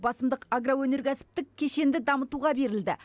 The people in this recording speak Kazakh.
басымдық агроөнеркәсіптік кешенді дамытуға берілді